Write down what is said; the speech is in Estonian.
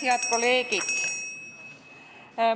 Head kolleegid!